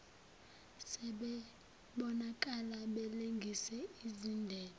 sebebonakala belengise izindebe